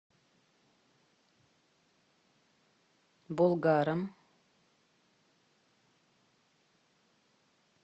болгаром